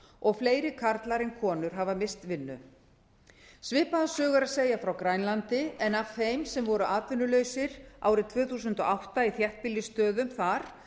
og fleiri karlar en konur hafa misst vinnu svipaða sögu er að segja frá grænlandi en af þeim sem voru atvinnulausir árið tvö þúsund og átta í þéttbýlisstöðum þar